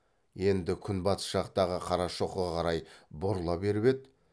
енді күнбатыс жақтағы қарашоқыға қарай бұрыла беріп еді